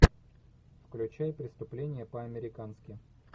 включай преступление по американски